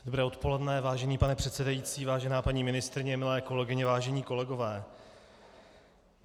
Dobré odpoledne, vážený pane předsedající, vážená paní ministryně, milé kolegyně, vážení kolegové.